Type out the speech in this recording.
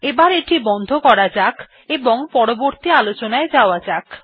এবার এটি বন্ধ করা যাক এবং পরবর্তী আলোচনায় যাওয়া যাক